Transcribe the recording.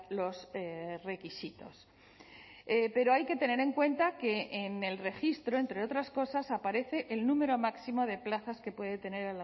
los requisitos pero hay que tener en cuenta que en el registro entre otras cosas aparece el número máximo de plazas que puede tener